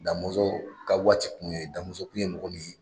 Da Mɔnsɔn ka waati kun ye, Da tun ye mɔgɔ minɛ ye